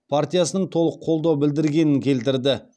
партиясының толық қолдау білдіргенін келтірді